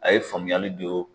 A ye faamuyali dɔ.